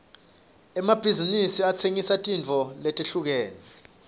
emabhizinsi atsengisa tintfo letehlukene